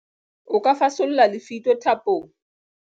O ka fasolla lefito thapong.